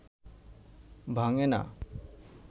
ভাঙে না